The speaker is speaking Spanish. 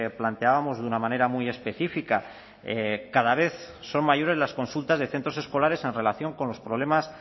planteábamos de una manera muy específica cada vez son mayores las consultas de centros escolares en relación con los problemas